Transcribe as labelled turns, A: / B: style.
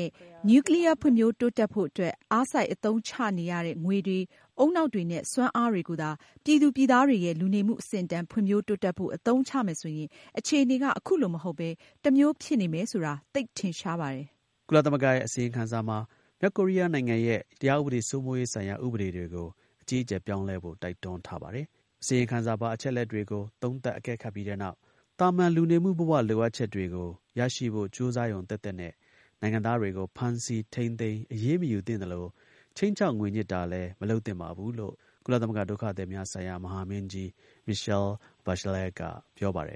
A: ဲ့ နျူးကလီးယား ဖွံ့ဖြိုးတိုးတက်ဖို့အတွက် အားစိုက် အသုံးချနေရတဲ့ ငွေတွေ၊ ဦးနှောက်တွေနဲ့ စွမ်းအားတွေ ကိုသာ ပြည်သူ ပြည်သားတွေရဲ့ လူနေမှု အဆင့်အတန်း ဖွံ့ဖြိုးတိုးတက်ဖို့ အသုံးချမယ်ဆိုရင် အခြေအနေက အခုလို မဟုတ်ဘဲ တစ်မျိုး ဖြစ်နေမယ်ဆိုတာ သိပ်ထင်ရှားပါတယ်။
B: ” ကုလသမဂ္ဂရဲ့ အစီရင်ခံစာမှာ မြောက်ကိုရီးယားနိုင်ငံရဲ့ တရားဥပဒေစိုးမိုးရေးဆိုင်ရာ ဥပဒေတွေကို အကြီးအကျယ် ပြောင်းလဲဖို့ တိုက်တွန်းထားပါတယ်။ အစီရင်ခံစာပါ အချက်အလက်တွေကို သုံးသပ် အကဲခတ်ပြီးတဲ့နောက် သာမန် လူနေမှု ဘ၀ လိုအပ်ချက်တွေကို ရရှိဖို့ ကြိုးစားရုံသက်သက်နဲ့ နိုင်ငံသားတွေကို ဖမ်းဆီး ထိန်းသိမ်း အရေးမယူသင့်သလို ခြိမ်းခြောက် ငွေညှစ်တာလည်း မလုပ်သင့်ပါဘူးလို့ ကုလသမဂ္ဂ ဒုက္ခသည်များဆိုင်ရာ မဟာမင်းကြီး Michele Bachelet က ပြောပါတယ်